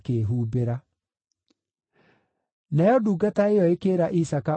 Nayo ndungata ĩyo ĩkĩĩra Isaaka ũrĩa wothe yekĩte.